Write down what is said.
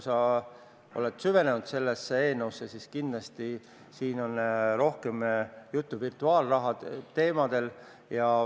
Sa oled sellesse eelnõusse süvenenud ja kindlasti tead, et siin on rohkem juttu virtuaalraha teemadel.